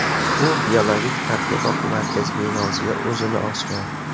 U Biologik tadqiqot markazi binosida o‘zini osgan.